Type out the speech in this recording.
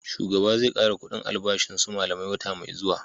Shugaba zai kara kudin albashin su malamai wata mai zuwa